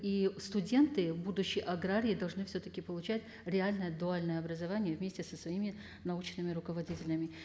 и студенты будущее аграрии должны все таки получать реальное дуальное образование вместе со своими научными руководителями